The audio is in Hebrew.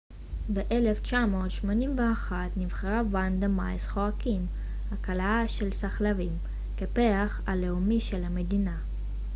ב-1981 נבחרה ונדה מיס חואקים הכלאה של סחלבים כפרח הלאומי של המדינה